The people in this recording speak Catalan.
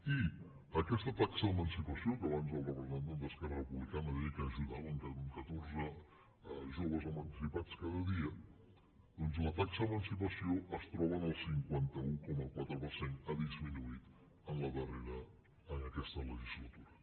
i aquesta taxa d’emancipació que abans el representant d’esquerra republicana deia que ajudaven catorze joves emancipats cada dia doncs la taxa d’emancipació es troba en el cinquanta un coma quatre per cent ha disminuït en la darrera en aquesta legislatura